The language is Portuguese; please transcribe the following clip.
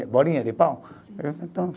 Bolinha de pau então